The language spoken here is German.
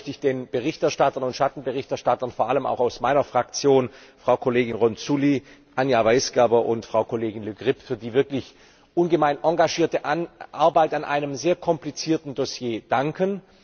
Zunächst einmal möchte ich den Berichterstattern und Schattenberichterstattern, vor allem auch aus meiner Fraktion Frau Kollegin Ronzulli, Anja Weisgerber und Frau Kollegin Le Grip, für die wirklich ungemein engagierte Arbeit an einem sehr komplizierten Dossier danken.